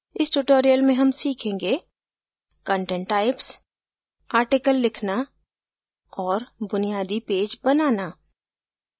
इस tutorial में हम सीखेंगे content types कंटेंट के प्रकार आर्टिकल लिखना और बुनियादी पेज बनाना